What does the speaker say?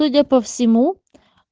судя по всему